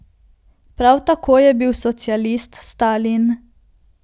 Prav tako je bil socialist Stalin.